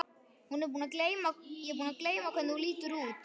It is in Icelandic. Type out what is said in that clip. Ég er búin að gleyma hvernig þú lítur út.